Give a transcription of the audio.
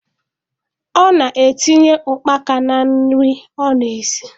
Ọ na-etinye ụkpaka na nri ọ na-esi